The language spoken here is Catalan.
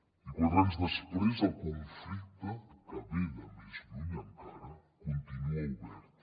i quatre anys després el conflicte que ve de més lluny encara continua obert